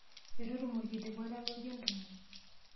Etu atum orkilikwai lalotie entumo.